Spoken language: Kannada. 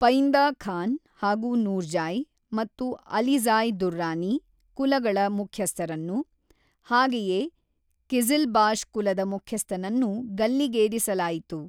ಪೈಂದಾ ಖಾನ್ ಹಾಗೂ ನೂರ್ಜ಼ಾಯ್ ಮತ್ತು ಅಲಿಜ಼ಾಯ್ ದುರ್ರಾನಿ ಕುಲಗಳ ಮುಖ್ಯಸ್ಥರನ್ನು, ಹಾಗೆಯೇ ಕಿಝಿಲ್ಬಾಶ್ ಕುಲದ ಮುಖ್ಯಸ್ಥನನ್ನೂ ಗಲ್ಲಿಗೇರಿಸಲಾಯಿತು.